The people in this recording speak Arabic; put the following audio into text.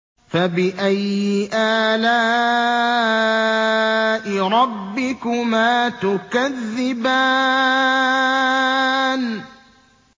فَبِأَيِّ آلَاءِ رَبِّكُمَا تُكَذِّبَانِ